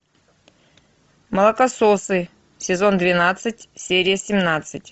молокососы сезон двенадцать серия семнадцать